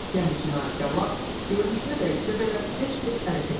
Yəni cinayətkarlar görünüşünü dəyişsə belə, gec-tez ələ keçir.